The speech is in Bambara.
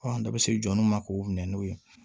an bɛɛ bɛ se jɔnniw ma k'o minɛ n'o ye